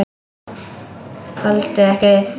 Þoldu ekki við.